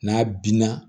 N'a binna